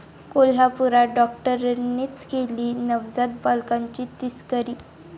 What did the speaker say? कोल्हापूरात डॉक्टरांनीच केली नवजात बालकांची तस्करी!